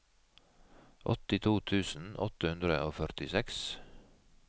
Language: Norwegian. åttito tusen åtte hundre og førtiseks